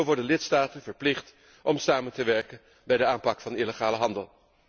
Zo worden lidstaten verplicht om samen te werken bij de aanpak van illegale handel.